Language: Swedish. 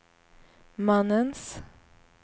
mannens